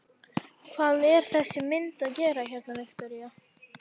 Hvað er þessi mynd að gera hérna, Viktoría?